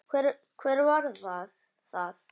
Hver var það?